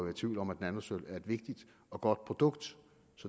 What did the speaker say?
i tvivl om at nanosølv er et vigtigt og godt produkt